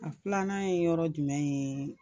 A filanan ye yɔrɔ jumɛn ye ?